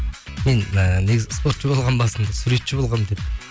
мен ііі негізі спортшы болғанмын басында суретші болғанмын деп